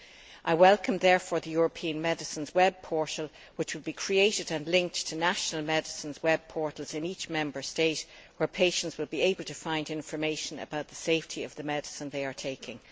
I therefore welcome the European medicines web portal, which will be created and linked to national medicines web portals in each Member State, and where patients will be able to find information about the safety of the medicine they are taking.